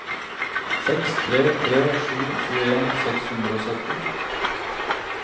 seks tre tre sju tjueen seks hundre og sytten